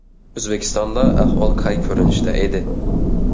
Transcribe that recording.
O‘zbekistonda ahvol qay ko‘rinishda edi?